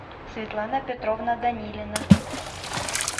светлана петровна данилина